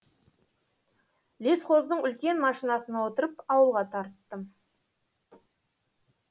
лесхоздың үлкен машинасына отырып ауылға тарттым